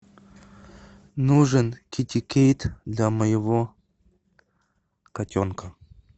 нужен китикет для моего котенка